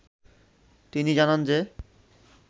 তিনি জানান যে